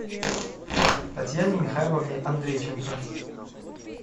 татьяне михайловне андрейченко